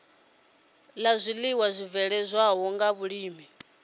la zwiiwa zwibveledzwaho nga vhulimi